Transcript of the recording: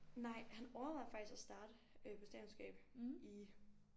Nej han overvejede faktisk at starte øh på statskundskab i